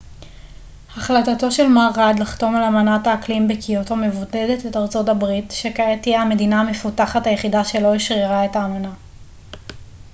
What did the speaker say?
החלטתו של מר ראד לחתום על אמנת האקלים בקיוטו מבודדת את ארצות הברית שכעת תהיה המדינה המפותחת היחידה שלא אשררה את האמנה